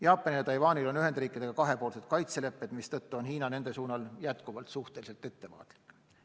Jaapanil ja Taiwanil on Ühendriikidega kahepoolsed kaitselepped, mistõttu Hiina on nende suunal jätkuvalt suhteliselt ettevaatlik.